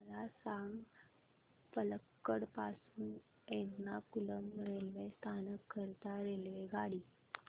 मला सांग पलक्कड पासून एर्नाकुलम रेल्वे स्थानक करीता रेल्वेगाडी